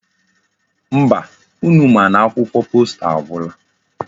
Mba, unu ma n'akwụkwọ posta agwula.